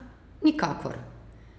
Nikakor!